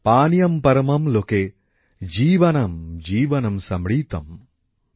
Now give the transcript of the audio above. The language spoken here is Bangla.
পানিয়ম্ পরমম্ লোকে জীবানাম্ জীবনম সম্রিতম্